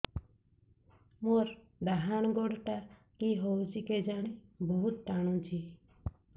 ମୋର୍ ଡାହାଣ୍ ଗୋଡ଼ଟା କି ହଉଚି କେଜାଣେ ବହୁତ୍ ଟାଣୁଛି